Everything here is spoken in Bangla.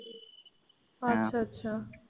আচ্ছা আচ্ছা।